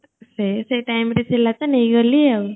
ସେ ସେ time ରେ ଥିଲା ତ ନେଇ ଗଲି ଆଉ